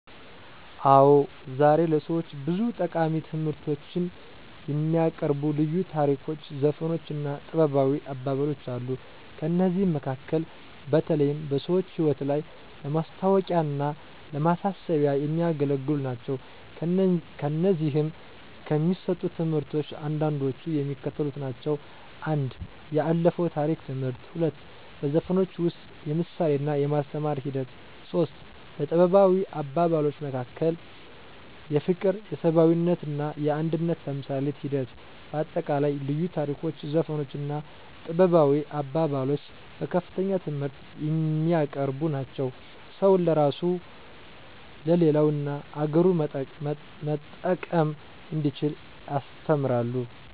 አዎ ዛሬ ለሰዎች ብዙ ጠቃሚ ትምህርቶችን የሚያቀርቡ ልዩ ታሪኮች ዘፈኖች እና ጥበባዊ አባባሎች አሉ። ከእነዚህም መካከል በተለይም በሰዎች ህይወት ላይ ለማስታዎቂያና ለማሳሰቢያ የሚያገለግሉ ናቸው። ከእነዚህም ከሚሰጡት ትምህርቶች አንዳንዶቹ የሚከተሉት ናቸው፦ 1. የአለፋው የታሪክ ትምህርት 2. በዘፈኖች ውስጥ የምሳሌና የማስተማር ሒደት 3. በጥበባዊ አባባሎች መካከል የፍቅር የሰብአዊነትና የአንድነት ተምሳሌት ሒደት በአጠቃላይ ልዩ ታሪኮች ዘፈኖች እና ጥበባዊ አባባሎች በከፍተኛ ትምህርት የሚያቀርቡ ናቸው። ሰውን ለራሱ ለሌላ እና አገሩን መጠቀም እንዲችል ያስተምራሉ።